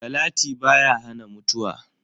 Salati baya hana mutuwa.